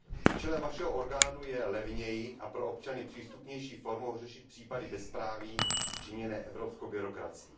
Účelem vašeho orgánu je levněji a pro občany přístupnější formou řešit případy bezpráví činěné evropskou byrokracií.